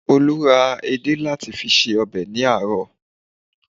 Olú ra edé láti fi se ọbẹ̀ ní àárọ̀